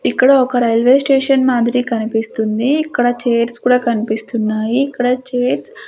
ఇక్కడ ఒక railway station మాధురి కనిపిస్తుంది ఇక్కడ చైర్స్ కూడా కనిపిస్తున్నాయి ఇక్కడ చైర్స్ .